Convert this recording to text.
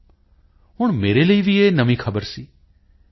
ਤੋਂ ਹੁਣ ਮੇਰੇ ਲਈ ਵੀ ਇਹ ਨਵੀਂ ਖ਼ਬਰ ਸੀ ਪੀ